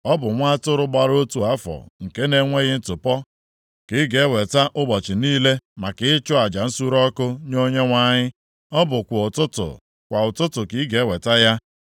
“ ‘Ọ bụ nwa atụrụ gbara otu afọ nke na-enweghị ntụpọ ka ị ga-eweta ụbọchị niile maka ịchụ aja nsure ọkụ nye Onyenwe anyị, ọ bụ kwa ụtụtụ, kwa ụtụtụ ka ị ga-eweta ya.